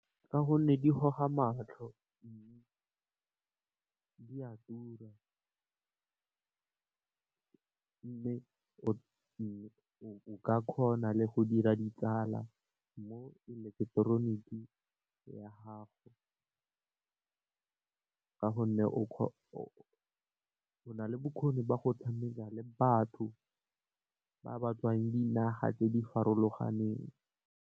Ka gonne di goga matlho , di a tura mme, o ka kgona le go dira ditsala mo eleketeroniki ya gago . Ka gonne o na le bokgoni ba go tshameka le batho ba ba tswang dinageng tse di farologaneng.